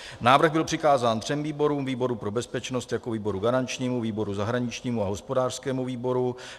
Návrh byl přikázán třem výborům, výboru pro bezpečnost jako výboru garančnímu, výboru zahraničnímu a hospodářskému výboru.